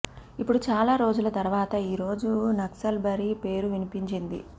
ఇపుడు చాలా రోజుల తర్వాత ఈ రోజు నక్సల్బరి పేరు వినిపించింది